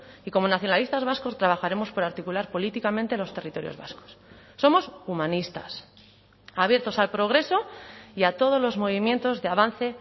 y como nacionalistas vascos trabajaremos por articular políticamente los territorios vascos somos humanistas abiertos al progreso y a todos los movimientos de avance